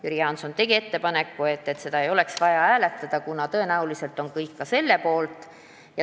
Jüri Jaanson leidis, et seda ei oleks vaja hääletada, kuna tõenäoliselt on kõik ka selle poolt.